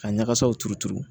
Ka ɲagasaw turu turu